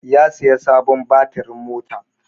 Ya saya sabon batirin mota.